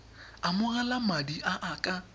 amogela madi a a ka